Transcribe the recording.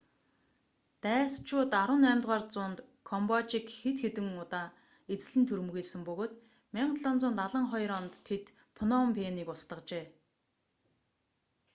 дайсчууд 18-р зуунд камбожийг хэд хэдэн удаа эзлэн түрэмгийлсэн бөгөөд 1772 онд тэд пном пэнийг устгажээ